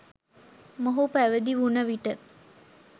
මොහු පැවිදි වුන විට